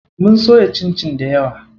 Mun soya cincin dayawa.